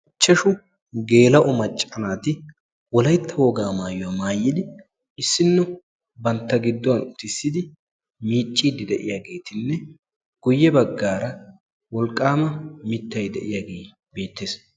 ihashsu gela"o macca naati wolaytta woga maayuwaa maayidi issino bantto giddon uttisidi miiccide de'iyaagetinne guyye baggara wolqqama mittay de'iyaage beettees.